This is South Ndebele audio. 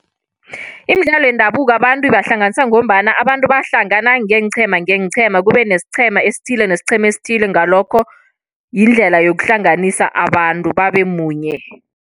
Imidlalo yendabuko abantu ibahlanganisa ngombana abantu bayahlangana ngeenqhema kubenesiqhema esithile, nesiqhema esithile. Ngalokho yindlela yokuhlanganisa abantu babemunye.